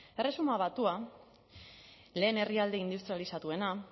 erresuma batuan lehen herrialde industrializatuena